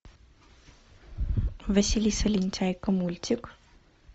василиса лентяйка мультик